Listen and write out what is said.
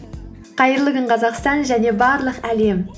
қайырлы күн қазақстан және барлық әлем